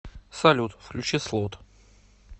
салют включи слот